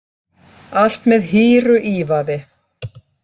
Allt með hýru ívafi